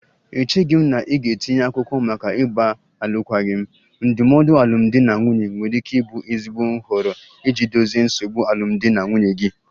Echeghị m na ị ga-etinye akwụkwọ maka ịgba alụkwaghịm, ndụmọdụ alụmdi na nwunye nwere ike ịbụ ezigbo nhọrọ iji dozie nsogbu alụmdi na nwunye gị